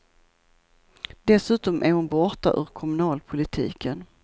Dessutom är hon borta ur kommunalpolitiken.